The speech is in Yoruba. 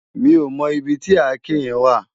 Mi ó mò ibi ti àké yèn wá